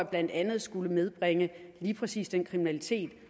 blandt andet skulle nedbringe lige præcis den kriminalitet